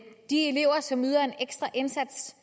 de elever som yder en ekstra indsats